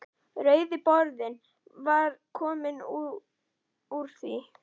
Rauði borðinn var kominn úr því.